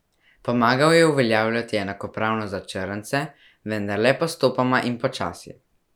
Pomagal je uveljavljati enakopravnost za črnce, vendar le postopoma in počasi.